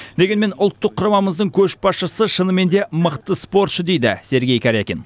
дегенмен ұлттық құрамамыздың көшбасшысы шынымен де мықты спортшы дейді сергей карякин